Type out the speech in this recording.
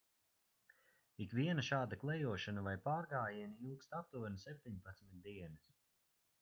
ikviena šāda klejošana vai pārgājieni ilgst aptuveni 17 dienas